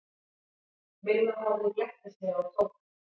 Milla horfði glettnislega á Tóta.